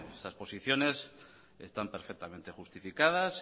esas posiciones están perfectamente justificadas